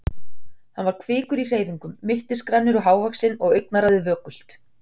Hann var kvikur í hreyfingum, mittisgrannur og hávaxinn og augnaráðið vökult.